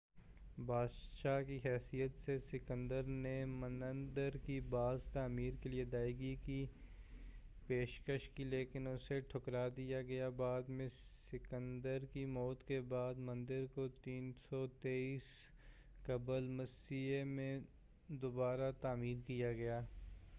بادشاہ کی حیثیت سے سکندر نے مندر کی باز تعمیر کے لئے ادائیگی کی پیشکش کی لیکن اسے ٹھکرا دیا گیا بعد میں سکندر کی موت کے بعد مندر کو 323 قبلِ مسیح میں دوبارہ تعمیر کیا گیا